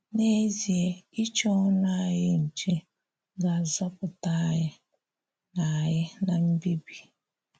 N’ezìe, ichè ọnụ anyị nchè ga-azọpụtà anyị ná anyị ná mbibì.